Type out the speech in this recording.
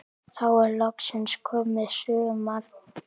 Þá er loksins komið sumar.